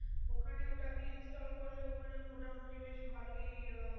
ওখানে ওটা আপনি install করলে ওখানে মোটামুটি বেশ ভালোই